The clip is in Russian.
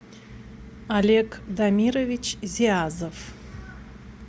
олег дамирович зиазов